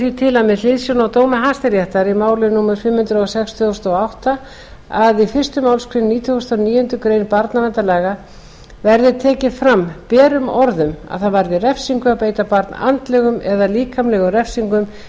til með hliðsjón af dómi hæstaréttar í máli númer fimm hundruð og sex tvö þúsund og átta að í fyrstu málsgrein nítugasta og níundu grein barnaverndarlaga verði tekið fram berum orðum að það varði refsingu að beita barn andlegum eða líkamlegum refsingum eða